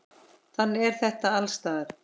Þannig er þetta alls staðar.